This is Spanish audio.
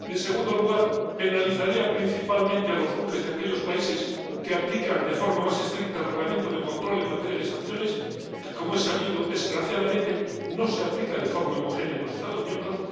en segundo lugar, penalizaría principalmente a los buques de aquellos países que aplican de forma más estricta el Reglamento de control en materia de sanciones, que, como es sabido, desgraciadamente no se aplica de forma homogénea en los Estados miembros